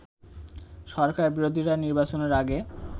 সরকার-বিরোধীরা নির্বাচনের আগে